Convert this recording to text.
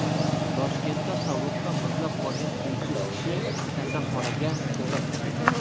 Toshkentda sovuqdan muzlab qolgan uysiz kishi kasalxonaga joylashtirildi.